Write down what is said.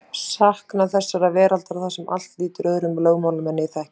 Saknað þessarar veraldar þar sem allt lýtur öðrum lögmálum en ég þekki.